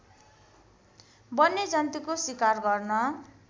वन्यजन्तुको सिकार गर्न